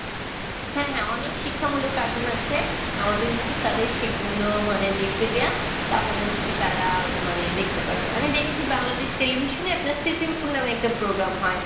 হ্যাঁ হ্যাঁ, অনেক শিক্ষামূলক cartoon আছে। আমাদের উচিত তাদের সেইগুলো মানে দেখতে দেওয়া। তাহলে হচ্ছে তারা মানে দেখতে পারবে। আমি দেখেছি বাংলাদেশ টেলিভিশনে আপনার সিসিমপুর নামে একটা program হয়।